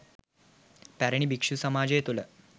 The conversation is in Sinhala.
පැරණි භික්‍ෂු සමාජය තුළ